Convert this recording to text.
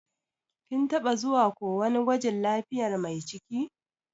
Kin taba zuwa ko wani gwajin lafiyar Mai ciki?